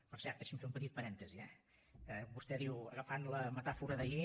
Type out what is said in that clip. per cert deixi’m fer un petit parèntesi eh vostè ha dit agafant la metàfora d’ahir